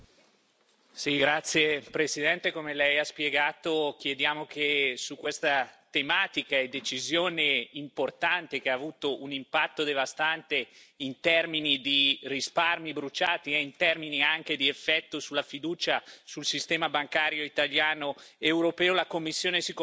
Signor Presidente, onorevoli colleghi, come lei ha spiegato, chiediamo che su questa tematica e decisione importante, che ha avuto un impatto devastante in termini di risparmi bruciati nonché di effetto sulla fiducia nel sistema bancario italiano ed europeo, la Commissione si confronti